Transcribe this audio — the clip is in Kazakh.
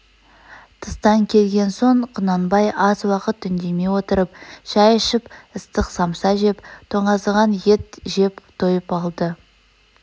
тыстан келген соң құнанбай аз уақыт үндемей отырып шай ішіп ыстық самса жеп тоңазыған ет жеп тойып алды